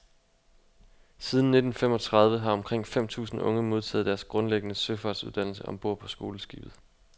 Siden nitten femogtredive har omkring fem tusind unge modtaget deres grundlæggende søfartsuddannelse om bord på skoleskibet.